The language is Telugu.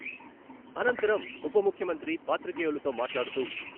అనంతరం ఉపముఖ్యమంత్రి పాత్రికేయులతో మాట్లాడుతూ...